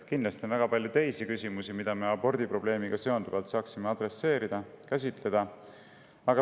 Kindlasti on ka väga palju muid küsimusi, mida me abordi probleemiga seonduvalt saaksime adresseerida ja käsitleda.